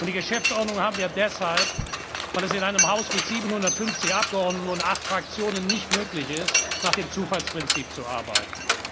Die Geschäftsordnung haben wir deshalb, weil es in einem Haus mit 750 Abgeordneten und acht Fraktionen nicht möglich ist, nach dem Zufallsprinzip zu arbeiten.